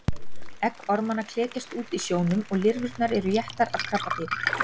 Egg ormanna klekjast út í sjónum og lirfurnar eru étnar af krabbadýri.